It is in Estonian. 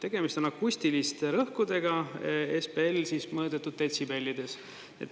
Tegemist on akustiliste rõhkudega, SBL, mõõdetud detsibellides.